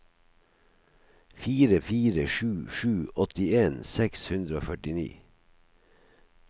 fire fire sju sju åttien seks hundre og førtini